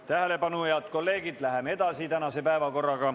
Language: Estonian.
Tähelepanu, head kolleegid, läheme edasi.